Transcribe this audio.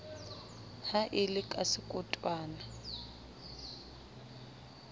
ha e le ka sekotwana